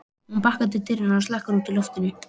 Hún bakkar til dyranna og slekkur í loftinu.